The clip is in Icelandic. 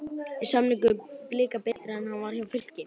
Er samningur Blika betri en hann var hjá Fylki?